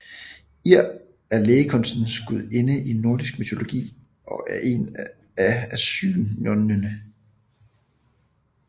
Eir er lægekunstens gudinde i nordisk mytologi og er en af asynjerne